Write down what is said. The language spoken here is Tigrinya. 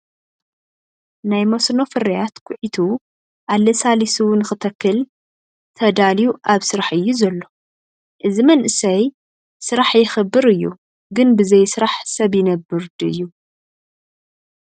ናይ መስኖ ፍርያት ኹዒቱ ኣላሳሊሱ ንክተክል ተዳልዩ ኣብ ስራሕ እዩ ዘሎ:: እዚ መንእሰይ ስራሕ የክብር እዩ:: ግን ብዘይስራሕ ሰብይነብር ዲዩ ?